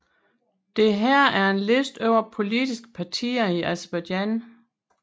Dette er en liste over politiske partier i Aserbajdsjan